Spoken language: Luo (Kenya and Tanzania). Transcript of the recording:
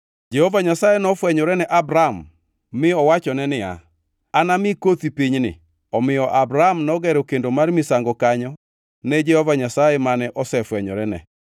Jehova Nyasaye nofwenyore ne Abram mi owachone niya, “Anami kothi pinyni.” Omiyo Abram nogero kendo mar misango kanyo ne Jehova Nyasaye mane osefwenyorene.